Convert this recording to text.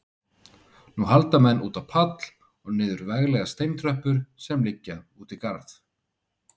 Nú halda menn út á pall og niður veglegar steintröppur sem liggja út í garð.